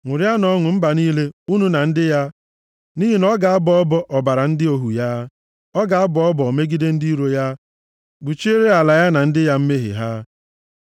Ṅụrịanụ ọṅụ mba niile, unu na ndị ya, nʼihi na ọ ga-abọ ọbọ ọbara ndị ohu ya, ọ ga-abọ ọbọ megide ndị iro ya, kpuchiere ala ya na ndị ya mmehie ha.